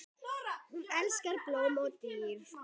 Hún elskaði blóm og dýr.